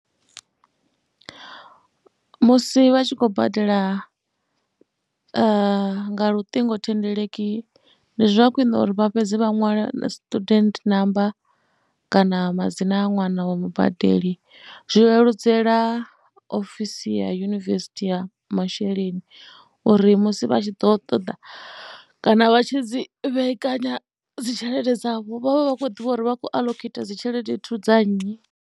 Musi vha tshi khou badela nga luṱingothendeleki ndi zwa khwine uri vha fhedze vha ṅwale na student namba kana madzina a ṅwana wa mubadeli. Zwi leludzela ofisi ya yunivesithi ya masheleni uri musi vha tshi ḓo ṱoḓa kana vha tshi dzi vhekanya dzi tshelede dzavho vha vha vha khou ḓivha uri vha khou aḽokheitha dzi tshelede dza nnyi.